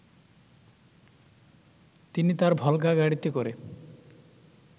তিনি তার ভলগা গাড়িতে করে